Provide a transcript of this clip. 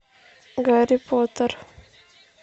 гарри поттер